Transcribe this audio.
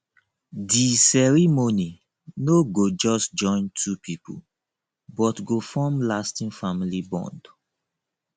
di ceremony no go just join two people but go form lasting family bond